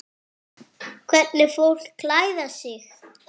Hvernig fólk klæðir sig.